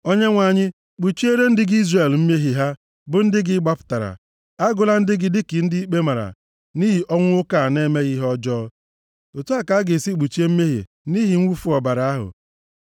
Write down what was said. Onyenwe anyị, kpuchiere ndị gị Izrel mmehie ha, bụ ndị gị ị gbapụtara. Agụla ndị gị dịka ndị ikpe mara nʼihi ọnwụ nwoke a na-emeghị ihe ọjọọ.” Otu a ka a ga-esi kpuchie mmehie nʼihi mwụfu ọbara ahụ.